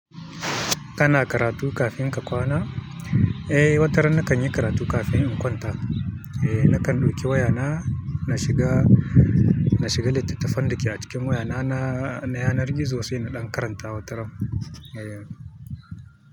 Kana karatu kafin ka kwana? Eh, wataran nakan yi karatu kafin in kwanta. Eh, nakan ɗauki wayana, na shiga, na shiga littattafan da ke a cikin wayana na, na yanar gizo sai na ɗan karanta wataran. Eh.